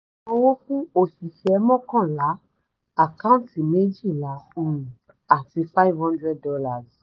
ìsanwó fún osise mọ́kànlá àkántì méjìlá um àti five hundred dollars